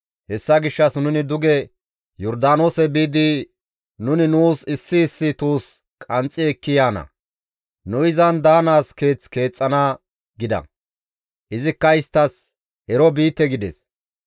hessa gishshas nuni duge Yordaanoose biidi nuni nuus issi issi tuus qanxxi ekki yaana; nu izan daanaas keeth keexxana» gida; izikka isttas, «Ero biite» gides.